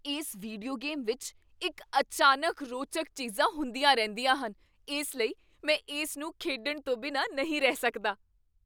ਇਸ video game ਵਿੱਚ ਇੱਕ ਅਚਾਨਕ ਰੋਚਕ ਚੀਜ਼ਾਂ ਹੁੰਦੀਆਂ ਰਹਿੰਦੀਆਂ ਹਨ ਇਸ ਲਈ ਮੈਂ ਇਸਨੂੰ ਖੇਡਣ ਤੋਂ ਬਿਨਾਂ ਨਹੀਂ ਰਹਿ ਸਕਦਾ!